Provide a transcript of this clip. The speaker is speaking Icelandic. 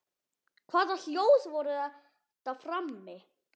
Hvaða hljóð voru þetta frammi?